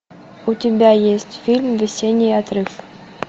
у тебя есть фильм весенний отрыв